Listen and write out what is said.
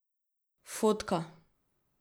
Fotka.